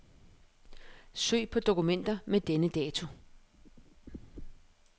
Søg på dokumenter med denne dato.